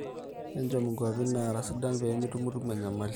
echom nkuapi naara sidan pemitumutumu enyamali